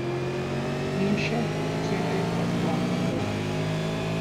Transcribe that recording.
In še k odgovoru.